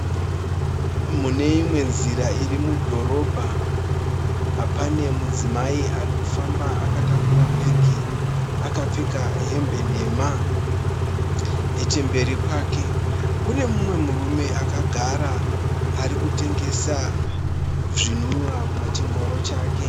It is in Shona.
Mune imwe nzira iri mudhorobha. Pane mudzimai ari kufamba , akatakura bhegi akapfeka hembe nhema. Neche mberi kwake kune mumwe murume akagara , ari kutengesa zvinwiwa pa chi ngoro chake.